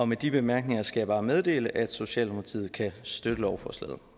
med de bemærkninger skal jeg bare meddele at socialdemokratiet kan støtte lovforslaget